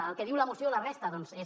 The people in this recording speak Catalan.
el que diu la moció la resta doncs és